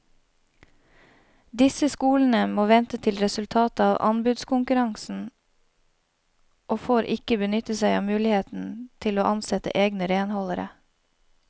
Disse skolene må vente til resultatet av anbudskonkurransen og får ikke benytte seg av muligheten til å ansette egne renholdere.